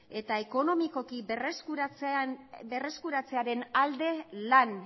eta ekonomikoki berreskuratzearen alde lan